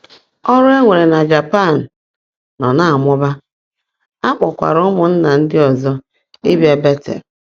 Ọrụ e nwere na Japan nọ na-amụba, a kpọkwara ụmụnna ndị ọzọ ịbịa Betel.